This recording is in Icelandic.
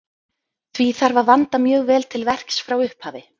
Því þarf að vanda mjög vel til verks frá upphafi.